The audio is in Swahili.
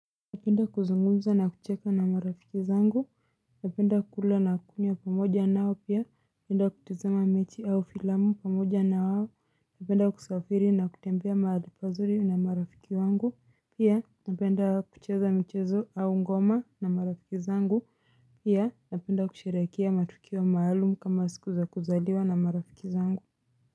Napenda kuzungumza na kucheka na marafiki zangu. Napenda kula na kunywa pamoja nao pia napenda kutazama mechi au filamu pamoja na wao. Napenda kusafiri na kutembea mahali pazuri na marafiki wangu pia napenda kucheza mchezo au ngoma na marafiki zangu. Pia napenda kusherehekea matukio maalumu kama siku za kuzaliwa na marafiki zangu.